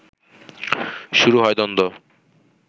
শুরু হয় দ্বন্দ্ব